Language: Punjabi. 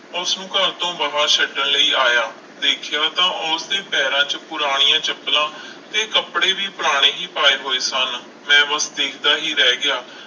ਉਸਨੂੰ ਘਰ ਤੋਂ ਬਾਹਰ ਛੱਡਣ ਲਈ ਆਇਆ ਦੇਖਿਆ ਤਾਂ ਉਸਦੇ ਪੈਰਾਂ 'ਚ ਪੁਰਾਣੀਆਂ ਚੱਪਲਾਂ ਤੇ ਕੱਪੜੇ ਵੀ ਪੁਰਾਣੇ ਹੀ ਪਾਏ ਹੋਏ ਸਨ, ਮੈਂ ਬਸ ਦੇਖਦਾ ਹੀ ਰਹਿ ਗਿਆ।